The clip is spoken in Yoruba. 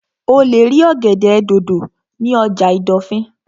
O lè rí ọ̀gẹ̀dẹ̀ dòdò ní ọjà ìdọ̀fìn